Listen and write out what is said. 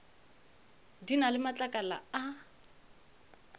di na le matlakala a